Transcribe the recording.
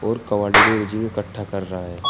और कबाडे को एक जगि इकट्ठा कर रहा है।